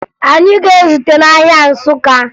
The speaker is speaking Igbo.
Anyị ga-ezute n'ahịa Nsụka